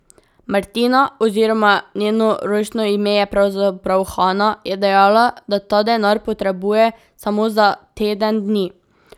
Martina, oziroma njeno rojstno ime je pravzaprav Hana, je dejala, da ta denar potrebuje samo za teden dni.